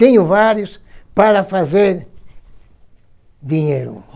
Tenho vários para fazer dinheiro.